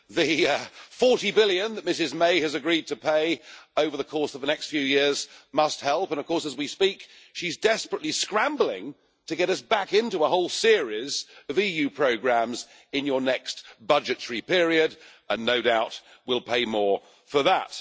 The EUR 40 billion that Ms May has agreed to pay over the course of the next few years must help and, of course, as we speak she is desperately scrambling to get us back into a whole series of EU programmes in your next budgetary period and, no doubt, will pay more for that.